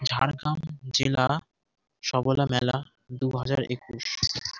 ঝাড়গ্রাম জেলা সবলা মেলা দু হাজার একুশ।